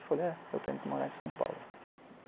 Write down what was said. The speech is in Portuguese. Eu falei, é, eu tenho que morar em São Paulo.